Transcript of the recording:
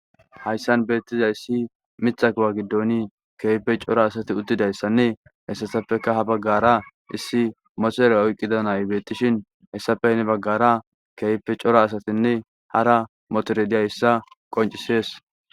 Hayssan beettiza issi mitha kuwa giddoni keehippe cora asati uttidayssanne hessatappeka ha baggara issi moterey oyqqida nay beettishin hessappe baggara keehippe cora asatinne hara motore diyayissa qoncisees.